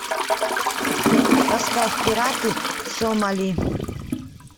поставь пираты сомали